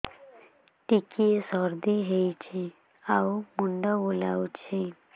ଟିକିଏ ସର୍ଦ୍ଦି ହେଇଚି ଆଉ ମୁଣ୍ଡ ବୁଲାଉଛି